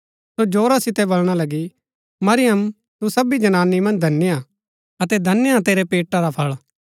सो जोरा सितै बलणा लगी मरियम तू सभी जनानी मन्ज धन्य हा अतै धन्य हा तेरै पेटा रा फळ